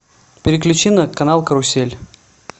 переключи на канал карусель